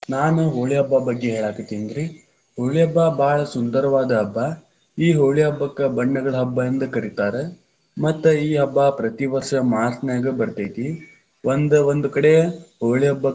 ನಾನು ಹೋಳಿ ಹಬ್ಬ ಬಗ್ಗೆ ಹೇಳಾಕತ್ತಿನ್ರಿ, ಹೋಳಿ ಹಬ್ಬ ಭಾಳ ಸುಂದರವಾದ ಹಬ್ಬ, ಈ ಹೋಳಿ ಹಬ್ಬಕ್ಕ ಬಣ್ಣಗಳ ಹಬ್ಬ ಎಂದ ಕರಿತಾರ, ಮತ್ತ್ ಈ ಹಬ್ಬ ಪ್ರತಿವಷ೯ ಮಾಚ೯ನ್ಯಾಗ ಬತೇ೯ತಿ, ಒಂದ್ ಒಂದ್ ಕಡೆ ಹೋಳಿ ಹಬ್ಬಕ್ಕ.